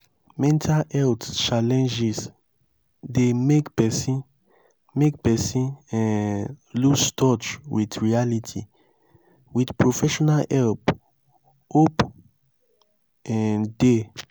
mental health challenges dey make person make person um loose touch with reality with professional help hope um dey